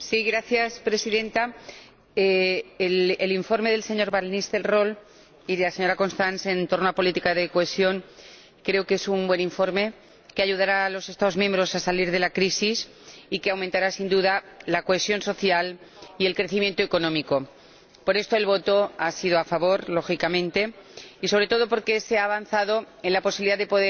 Señora Presidenta, creo que el informe del señor van Nistelrooij y de la señora Krehl en torno a la política de cohesión es un buen informe que ayudará a los Estados miembros a salir de la crisis y aumentará, sin duda, la cohesión social y el crecimiento económico. Por eso el voto ha sido a favor, lógicamente y, sobre todo, porque se ha avanzado en la posibilidad de